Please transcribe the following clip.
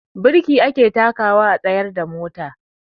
Birki ake takawa a tsayar da mota.